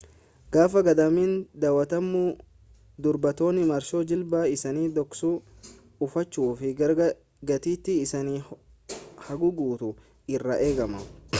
gaafa gadaamiin daawwatamu dubartoonni marxoo jilba isaanii dhoksu uffachuu fi gatiittii isaanis haguuguutu irraa eegama